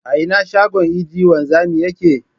A ina shagon idi wanzami yake?